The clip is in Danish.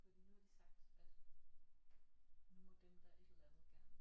Fordi nu har de sagt at nu må dem der et eller andet gerne